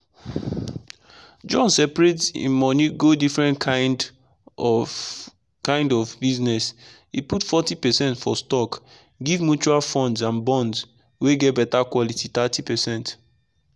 john seperate in money go different kind of kind of business he put forty percent for stockgive mutual funds and bond wey get better quality 30%.